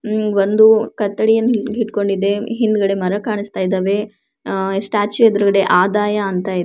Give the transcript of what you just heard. ಇದು ಬಂದು ಕತ್ತಿಯನ್ನ ಇಟ್ಕೊಂಡಿದೆ ಹಿಂದಗಡೆ ಮರ ಕಾಣಿಸ್ತಾ ಇದ್ದಾವೆ ಅಹ್ ಸ್ಟ್ಯಾಚು ಎದ್ರುಗಡೆ ಆದಾಯ ಅಂತ ಇದೆ.